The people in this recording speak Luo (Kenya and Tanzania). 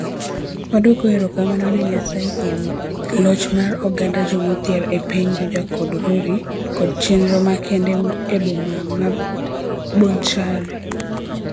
Wadwoko erokamano ne Nyasaye kuom loch mar oganda jomodhier e piny Juja kod Rurii kod chenro makende e boma ma Bonchari.